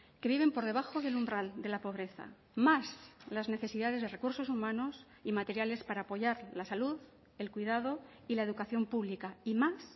que viven por debajo del umbral de la pobreza más las necesidades de recursos humanos y materiales para apoyar la salud el cuidado y la educación pública y más